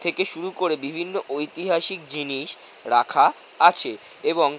থেকে শুরু করে বিভিন্ন ঐতিহাসিক জিনিস রাখা আছে এবং--